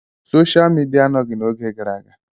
Soshia Midia anọghị n'oge gara aga.